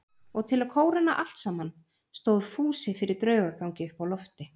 Og til að kóróna allt saman stóð Fúsi fyrir draugagangi uppi á lofti.